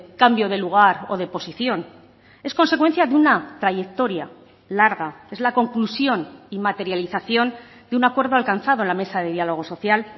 cambio de lugar o de posición es consecuencia de una trayectoria larga es la conclusión y materialización de un acuerdo alcanzado en la mesa de diálogo social